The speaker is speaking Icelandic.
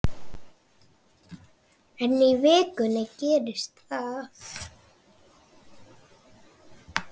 En í vikunni gerðist það.